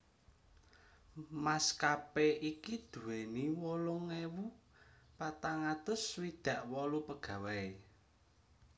Maskapé iki duwéni wolung ewu patang atus swidak wolu pegawai